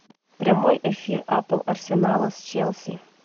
прямой эфир апл арсенала с челси